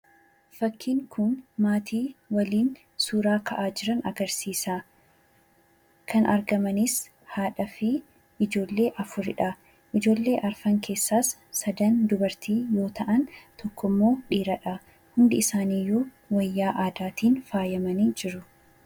Fakkiin kun maatii waliin suuraa ka'aa jiran agarsiisa. Kan argamanis haadhaa fi ijoollee afuridha. Ijoollee afran keessaas sadan dubartii yommuu ta'an, tokko dhiiradha. Hundi isaaniiyyuu wayyaa aadaatiin faayaamanii jiru.